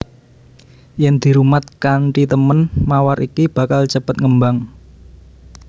Yen dirumat kanthi temen mawar iki bakal cepet ngembang